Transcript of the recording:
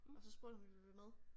Og så spurgte hun om vi ville med